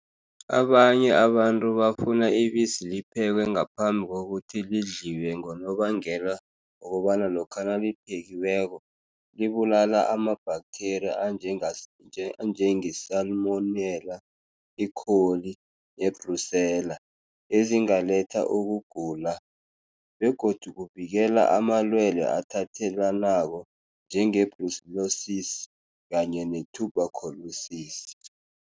Abanye abantu bafuna ibisi liphekwe ngaphambi kokuthi lidliwe, ngonobangela wokobana lokha naliphekiweko, libulala ama-bacteria anjenge-salmonela, E.coli, ne-Brucella, ezingaletha ukugula. Begodu kuvikela amalwele athathelanako, njenge-brucellosis kanye ne-tuberculosis.